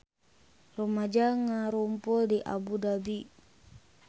Rumaja ngarumpul di Abu Dhabi